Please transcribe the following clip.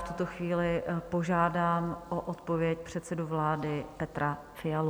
V tuto chvíli požádám o odpověď předsedu vlády Petra Fialu.